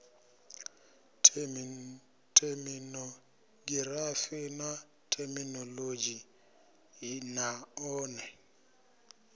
theminogirafi na theminolodzhi na one